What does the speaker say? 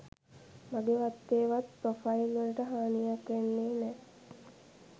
මගේ වත්ගේ වත් ප්‍රොෆයිල් වලට හානියක් වෙන්නේ නෑ